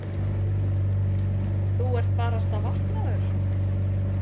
Þú ert barasta vaknaður.